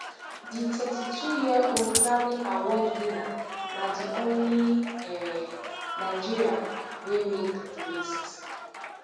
di thirty-twoyearold grammyaward winner na di only um nigerian wey make di list